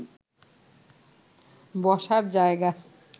বসার জায়গা